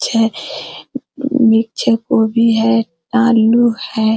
छै नीचे गोभी है आलू है।